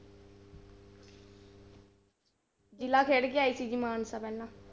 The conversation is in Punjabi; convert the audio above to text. ਜ਼ਿਲ੍ਹਾ ਖੇਡ ਕੇ ਆਈ ਸੀ ਜੀ ਮਾਨਸਾ ਪਹਿਲਾਂ।